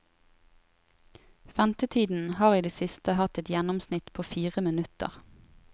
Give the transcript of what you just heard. Ventetiden har i det siste hatt et gjennomsnitt på fire minutter.